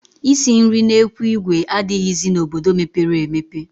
Isi nri n'ekwu ìgwè adịghịzi n'obodo mepere emepe